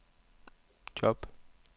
job